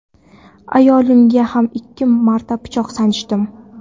ayolimga ham ikki marta pichoq sanchdim.